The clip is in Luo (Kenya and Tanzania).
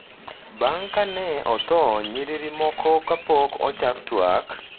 bang’ ka ne otho nyiriri moko kapok ochak twak.